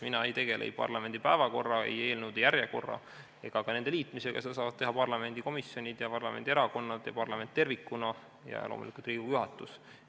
Mina ei tegele ei parlamendi päevakorra, eelnõude järjekorra ega ka nende liitmisega, seda saavad teha parlamendikomisjonid, parlamendierakonnad, parlament tervikuna ja loomulikult Riigikogu juhatus.